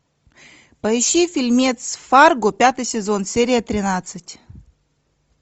поищи фильмец фарго пятый сезон серия тринадцать